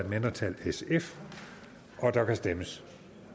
mindretal og der kan stemmes